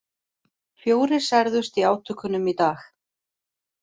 Fjórir særðust í átökunum í dag